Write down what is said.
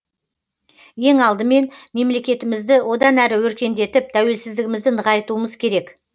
ең алдымен мемлекетімізді одан әрі өркендетіп тәуелсіздігімізді нығайтуымыз керек